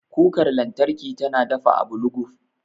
Kukar lantarki tana dafa abu luguf.